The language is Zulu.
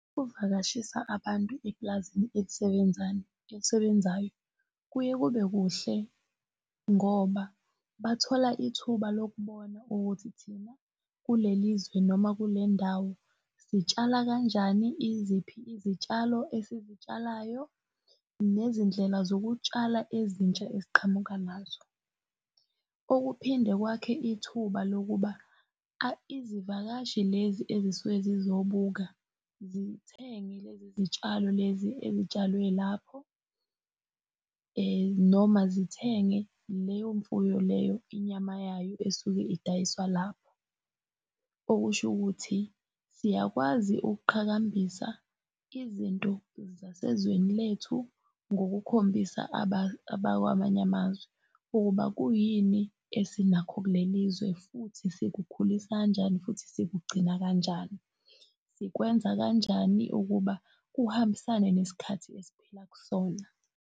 Kuvakashisa abantu eplazini elisebenzayo kuye kube kuhle, ngoba bathola ithuba lokubona ukuthi thina kulelizwe noma kulendawo sitshala kanjani, iziphi izitshalo esizitshalayo, nezindlela zokutshala ezintsha esiqhamuka nazo. Okuphinde kwakhe ithuba lokuba izivakashi lezi ezisuke zizobuka, zithenge lezi zitshalo lezi ezitshalwe lapho, noma zithenge leyo mfuyo leyo inyama yayo esuke idayiswa lapho. Okusho ukuthi siyakwazi ukuqhakambisa izinto zasezweni lethu ngokukhombisa abakwamanye amazwi ukuba kuyini esinakho kulelizwe futhi sikukhulisa kanjani futhi sikugcina kanjani. Sikwenza kanjani ukuba kuhambisane nesikhathi esphila kusona.